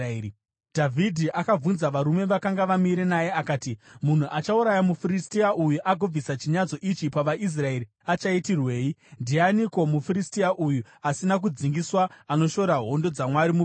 Dhavhidhi akabvunza varume vakanga vamire naye akati, “Munhu achauraya muFiristia uyu agobvisa chinyadziso ichi pavaIsraeri achaitirwei? Ndianiko muFiristia uyu asina kudzingiswa anoshora hondo dzaMwari mupenyu?”